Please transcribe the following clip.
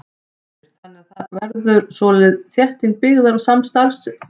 Heimir: Þannig að það verði svona þétting byggðar og starfsemi í kringum helstu stoppistöðvar?